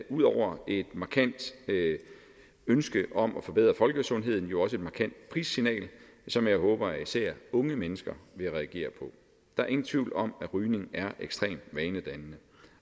ud over et markant ønske om at forbedre folkesundheden jo også et markant prissignal som jeg håber at især unge mennesker vil reagere på der er ingen tvivl om at rygning er ekstremt vanedannende